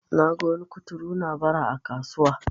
naga wani kuturu na Bara a kasuwa